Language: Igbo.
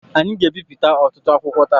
Anyị ga-ebipụta ọtụtụ akwụkwọ taa.